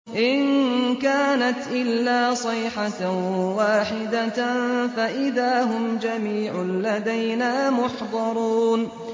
إِن كَانَتْ إِلَّا صَيْحَةً وَاحِدَةً فَإِذَا هُمْ جَمِيعٌ لَّدَيْنَا مُحْضَرُونَ